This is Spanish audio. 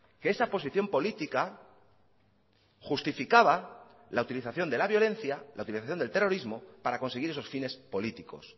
que esa posición política justificaba la utilización de la violencia la utilización del terrorismo para conseguir esos fines políticos